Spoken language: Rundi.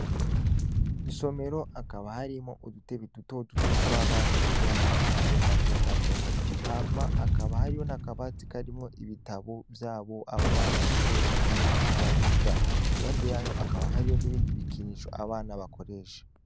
Insomero akaba harimwo udutebe dutoduto tw'abana biga mu mashure mato mato ahma akaba hariho nakabati karimwo ibitabo vyabo bana bakoresha iyo bariko bariga impande yayo akaba hariyo n'ibindi bikinisho abana bakoresha.